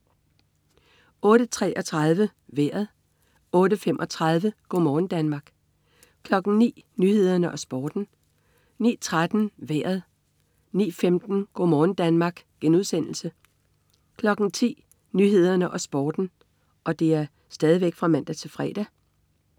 08.33 Vejret (man-fre) 08.35 Go' morgen Danmark (man-fre) 09.00 Nyhederne og Sporten (man-fre) 09.13 Vejret (man-fre) 09.15 Go' morgen Danmark* (man-fre) 10.00 Nyhederne og Sporten (man-fre)